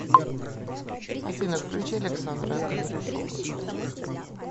афина включи александра кондрашова